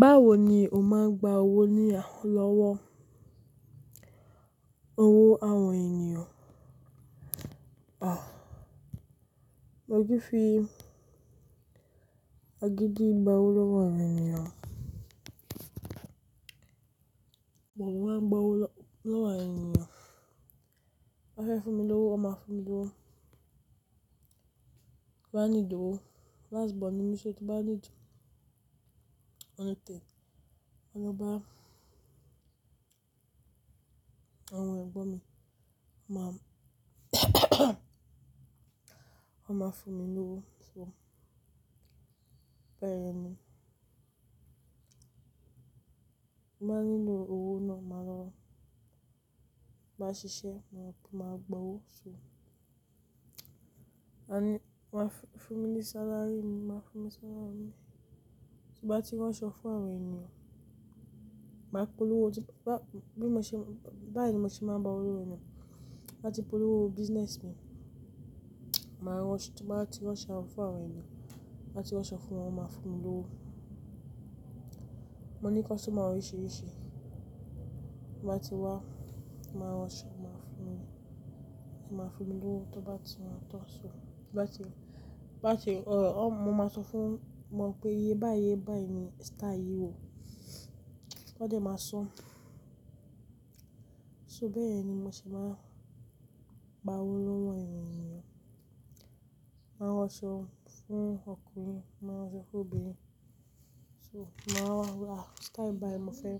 Báwo ni o máa ń gba owó ní àhó lọ́wọ́ owó àwọn ènìyàn? À, mo kì í fi àgídí gba owó lọ́wọ́ àwọn ènìyàn. Mo máa ń gba owó lọ́wọ́ àwọn ènìyàn. Wọ́n fẹ́ fún mi lówó, wọ́n máa fún mi lówó. Bí mo bá nídìí owó, Las bọọn ni mi so tin bá nídìí Òun ni téyìn. Òun ló bá àwọn ẹ̀gbọ́n mi, wọ́n máa, wọ́n máa fún mi lówó. So bẹ́ẹ̀ ni. Mo máa ń nílò owó náà, màá lọ bá ṣiṣẹ́, mo ní kí n máa gba owó. So wọ́n á fi fún mi ní salary mi, wọ́n máa fún mi salary mi. Bí mo bá ti rán aṣọ fún àwọn ènìyàn, màá polówó ti bí mo ṣe bá ẹ̀ ni mo ṣe máa ń gba owó lọ́wọ́ ènìyàn. Bí mo bá ti polówó business mi, màá rán aṣọ. Bí mo bá ti rán aṣọ fún àwọn ènìyàn, bí mo bá ti rán aṣọ fún wọn, wọ́n máa fún mi lówó. Mo ní customer oríṣìíríṣìí. Bí wọ́n bá ti wá, màá rán aṣọ, wọ́n máa fún mi, wọ́n máa fún mi lówó. Tó bá ti ran tán, so bí wọ́n bá ti, bá ti, òh, mo máa sọ fún wọn pé iye báaí báí ni style yìí ò. Wọ́n dẹ̀ máa san-an. So bẹ́ẹ̀ ni mo ṣe máa ń gba owó lọ́wọ́ àwọn ènìyàn. Máa rán aṣọ fún ọkùnrin, máa rán aṣọ fún obìnrin. So wọ́n máa wá wí, "À, style báí mo fẹ́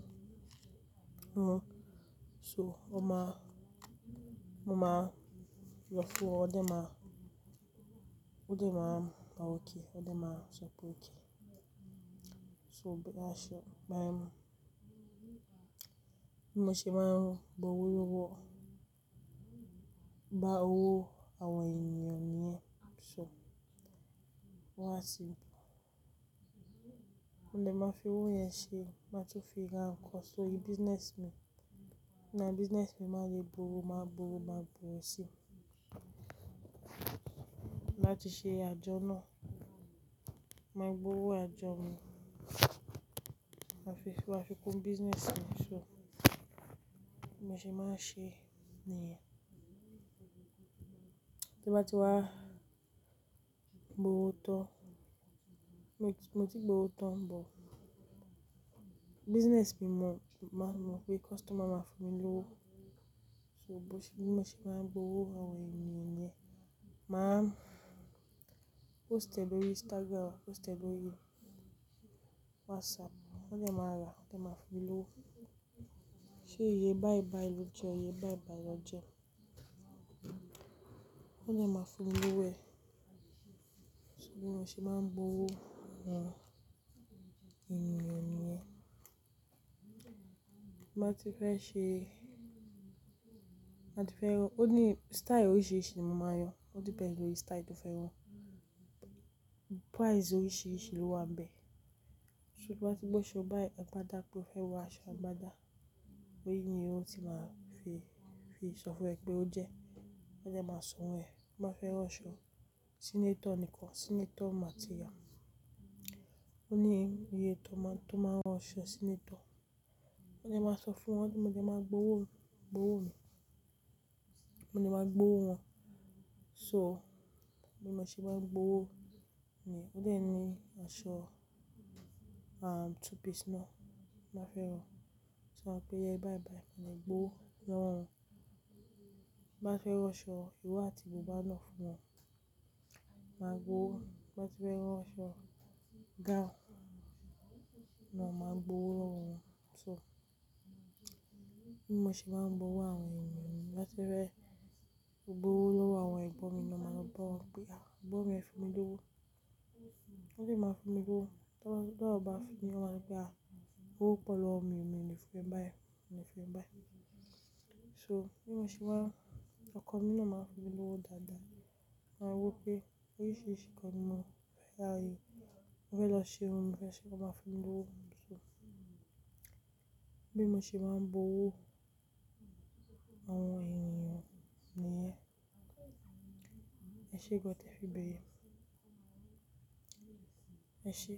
rà rẹ." So mo máa yọ fún wọn, ó dẹ̀ máa, ó dẹ̀ máa pa ókè, ó dẹ̀ máa sọ pé ókè. So bẹ́ẹ̀ aṣọ báí ni mo ṣe máa ń gbowó lọ́wọ́, gba owó àwọn ènìyàn nìyẹn. So wọ́n á ti, mo dẹ̀ máa fi owó yẹn ṣe, máa tún fi rà nǹkan. Sori business mi, ná business mi máa le gbòòrò, màá gbòòrò, màá gbòòrò sí i. Láti ṣe àjọ́ náà, màá gbowó àjọ mi. Máa fi, máa fi kun business mi. So bẹ́ẹ̀ mo ṣe máa ń ṣe nìyẹn. Tí mo bá ti wá gbowó tán, mo ti gbowó tán, but business mi mọ, máa mọ̀ pé customer máa fún mi lówó. So bẹ́ẹ̀ ni mo ṣe máa ń gbowó àwọn ènìyàn nìyẹn. Màá post ẹ lórí Instagram, post ẹ lórí WhatsApp. Wọ́n dẹ̀ máa rà, wọ́n dẹ̀ máa fún mi lówó. Sé iye báí báí ló jẹ́ ọ, iye báí báí ló jẹ́ ọ. Wọ́n dẹ̀ máa fún mi lówó ẹ̀. So bẹ́ẹ̀ ni mo ṣe máa ń gbowó àwọn ènìyàn nìyẹn. Bí mo bá ti fẹ́ ṣe, bí mo ti fẹ́ rán, ó ní style oríṣìíríṣìí ni mo máa ń rán. Ó dìpéňdì lórí style tó fẹ́ rán. Price oríṣìíríṣìí ló wà ńbẹ̀. So tí mo bá ti gbọ́ ṣé, "Ọ̀ báí ẹ̀pà dá" pé ó fẹ́ ra aṣọ ẹ̀pà dá, ó ní ìní irú tó máa fi sọ fún ẹ pé ó jẹ́. Wọ́n dẹ̀ máa sọ̀ún ẹ̀. Bí wọ́n bá fẹ́ rán aṣọ senator nìkan, senator màá ti ra. Ó ní iye tó máa rán aṣọ senator. Wọ́n dẹ̀ máa sọ fún wọn pé mo jẹ́ máa gbowó, gbowó mi. Mo ni máa gbowó wọn. So bí mo ṣe má ń gbowó nìyẹn, ó dẹ̀ ń ní aṣọ, àn, two piece náà, wọ́n fẹ́ rán. So mo máa pè ẹ́ iye báí báí, mo ní gbó lọ́wọ́ wọn. Bí wọ́n bá fẹ́ rán aṣọ ìró àti bùbá náà fún wọn, màá gbó wó. Bí wọ́n bá fẹ́ rán aṣọ gown náà, màá gbó lọ́wọ́ wọn. So bẹ́ẹ̀ ni mo ṣe máa ń gbowó àwọn ènìyàn nìyẹn. Bí wọ́n bá fẹ́, ó gbowó lọ́wọ́ àwọn ẹ̀gbọ́n mi náà ma lọ bá wọn pé, "À, ẹ̀gbọ́n mi ẹ fún mi lówó." Wọ́n sì máa ń fún mi lówó. Tó bá, tó bá fi ní, wọ́n máa ní pé, "À, owó pọ̀ lọ́mú, èmi ni fún ẹ báí, èmi ni fún ẹ báí." So bẹ́ẹ̀ ni mo ṣe máa ń, ọkọ mi náà máa ń fún mi lówó dáadáa. Mo máa wí pé oríṣìíríṣìí nǹkan ni mo fẹ́ rà yìí. Mo fẹ́ lọ ṣe irun mi fẹ́ ṣe, wọ́n máa ń fún mi lówó. So bẹ́ẹ̀ ni mo ṣe máa ń gbowó àwọn ènìyàn nìyẹn. Ẹ ṣe van te fi bèèrè. Ẹ ṣe.